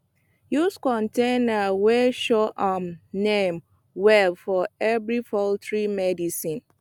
use container wey show um name well for every poultry medicine